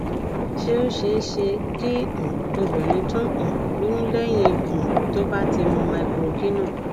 ṣé ó ṣeé ṣe kí um obìnrin tun um lóyún lẹyìn um tó bá ti mu microgynon